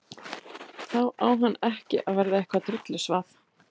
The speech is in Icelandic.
Þá á hann ekki að verða eitthvað drullusvað.